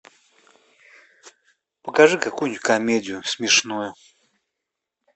покажи какую нибудь комедию смешную